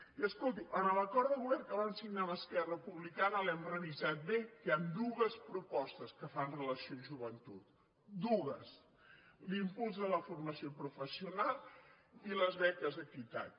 i escolti’m en l’acord de govern que van signar amb esquerra republicana l’hem revisat bé hi han dues propostes que fan relació a joventut dues l’impuls de la formació professional i les beques equitat